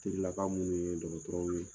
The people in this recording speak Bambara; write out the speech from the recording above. Terilaka minnu ye dɔgɔtɔrɔw ye.